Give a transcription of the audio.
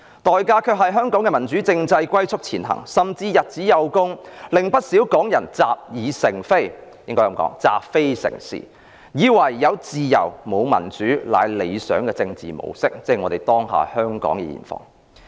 代價是香港的民主政制龜速前行，甚至日子有功，令不少港人習非成是，以為"有自由，沒有民主"是理想的政治模式，這是香港當下的現況。